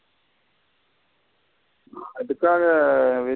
அதுக்காக.